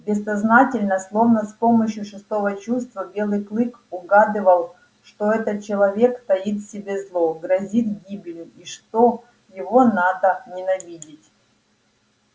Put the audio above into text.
бессознательно словно с помощью шестого чувства белый клык угадывал что этот человек таит в себе зло грозит гибелью и что его надо ненавидеть